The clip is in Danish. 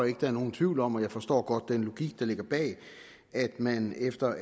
ikke der er nogen tvivl om og jeg forstår godt den logik der ligger bag at man efter